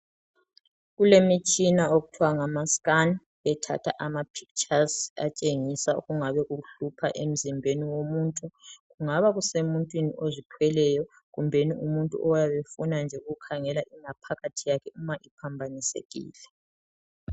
Kulemitshina okuthiwa ngamascan. Ethatha amapictures atshengisa, okungabe kuhlupha emzimbeni womuntu. Kungabe kungumuntu ozithweleyo, kumbe umuntu nje, ofuna ukukhangela ingaphakathi yakhe, okungabe kuphambanisekile.